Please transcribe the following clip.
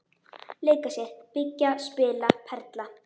Leika sér- byggja- spila- perla